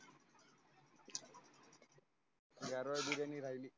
गारवा बिर्याणी राहिली.